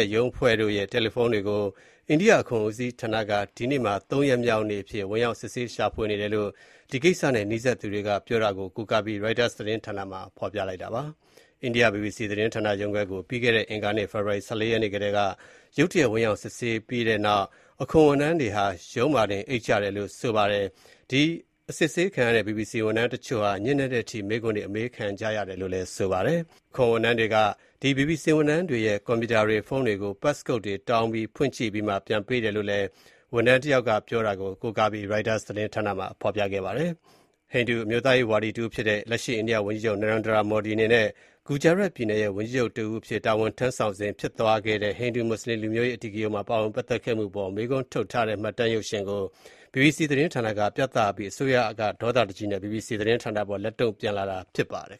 ဲ့ ရုံးအဖွဲ့တို့ရဲ့ တယ်လီဖုန်းတွေကို အိန္ဒိယအခွန်ဦးစီးဌာနက ဒီကနေ့မှာ ၃ ရောက်မြောက်နေ့အဖြစ် ဝင်ရောက် စစ်ဆေးရှာဖွေနေတယ်လို့ ဒီကိစ္စနဲ့ နီးစပ်သူတွေပြောတာကို ကိုးကားပြီး ရိုက်တာသတင်းမှာ ရေးပါတယ်။ အိန္ဒိယ ဘီဘီစီသတင်းဌာနရုံးခွဲကို ပြီးခဲ့တဲ့ အင်္ဂါနေ့ ဖေဖော်ဝါရီ ၁၄ ရက်နေ့က ရုတ်တရက် ဝင်ရောက်စစ်ဆေးကတည်းက အခွန်ဝန်ထမ်းတွေဟာ ရုံးမှာတင်အိပ်ကြတယ်လို့ ဆိုပါတယ်။ သူတို့က ဘီဘီစီ ဝန်ထမ်းတချို့ကို ညဉ့်နက်တဲ့အထိ မေးခွန်းတွေ အမေးခံကြရတယ်လို့ ဆိုပါတယ်။ အခွန်ဝန်ထမ်းတွေက သူတို့ရဲ့ ကွန်ပြူတာတွေ၊ ဖုန်းတွေကို Passcode တောင်းပြီး ဖွင့်ကြည့်ပြီးမှ ပြန်ပေးတယ်လို့ ဝန်ထမ်းတယောက် ပြောတာကို ကိုးကားပြီး ရိုက်တာက ရေးပါတယ်။ ဟိန္ဒူအမျိုးသားရေးဝါဒီတဦးဖြစ်တဲ့ လက်ရှိအိန္ဒိယဝန်ကြီး Narendra Modi အနေနဲ့ Gujarat ပြည်နယ်ရဲ့ ဝန်ကြီးချုပ်အဖြစ် တာဝန်ထမ်းဆောင်စဉ် ဖြစ်သွားခဲ့တဲ့ ဟိန္ဒူ-မွတ်ဆလင် လူမျိုးရေးအဓိကရုဏ်းမှာ ပါဝင်ပတ်သက်ခဲ့မှုအပေါ် မေးခွန်းထုတ်ထားတဲ့ မှတ်တမ်းရုပ်ရှင်ကို ဘီဘီစီသတင်းဌာနက ပြသအပြီးမှာ အစိုးရက ဒေါသတကြီးနဲ့ ဘီဘီစီသတင်းဌာနအပေါ် လက်တုန့်ပြန်လာတာ ဖြစ်ပါတယ်